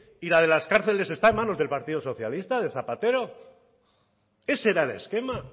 y la de las cárceles está en manos del partido socialista de zapatero ese era el esquema